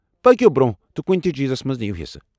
پٔکِو برٛۄنٛہہ تہٕ کنہ تہ چیزس منٛز نیو حصہٕ۔